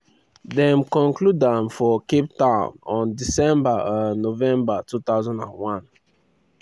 dem conclude am for cape town on 16 um november 2001.